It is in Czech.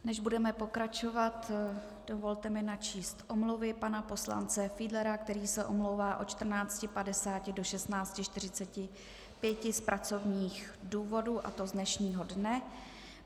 Než budeme pokračovat, dovolte mi načíst omluvy pana poslance Fiedlera, který se omlouvá od 14.50 do 16.45 z pracovních důvodů, a to z dnešního dne.